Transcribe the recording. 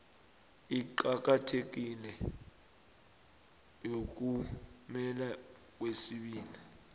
eqakathekileko yomphumela wesibili